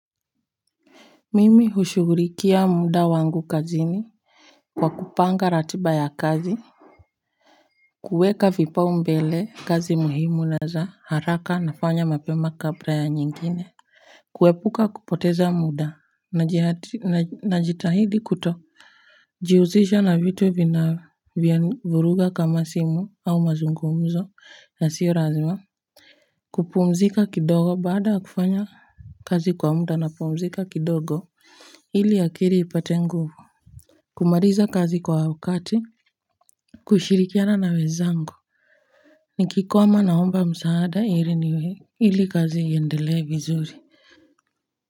Mimi hushughulikia muda wangu kazini kwa kupanga ratiba ya kazi kuweka vipao mbele kazi muhimu na za haraka nafanya mapema kabla ya nyingine kuepuka kupoteza muda, najitahidi kuto jihusisha na vitu vinavyo vuruga kama simu au mazungumzo ya sio lazima kupumzika kidogo, baada ya kufanya kazi kwa muda na pumzika kidogo ili akili ipate nguvu, kumaliza kazi kwa wakati kushirikiana na wenzangu, nikikwama naomba msaada ili kazi iendele vizuri.